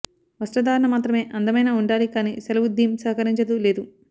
వస్త్రధారణ మాత్రమే అందమైన ఉండాలి కానీ సెలవు థీమ్ సహకరించదు లేదు